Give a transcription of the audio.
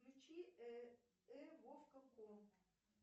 включи э вовка комп